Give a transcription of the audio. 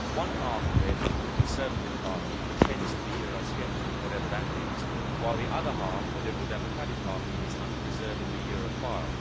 One half of it, the Conservative Party, pretends to be Eurosceptic, whatever that means, while the other half, the Liberal Democratic Party, is unreservedly Europhile.